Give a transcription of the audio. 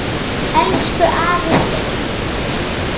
Elsku afi Steini.